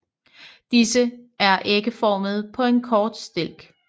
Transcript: Disse er ægformede på en kort stilk